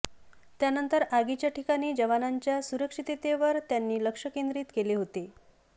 त्यानंतर आगीच्या ठिकाणी जवांनाच्या सुरक्षिततेवर त्यांनी लक्ष केंद्रीत केले होते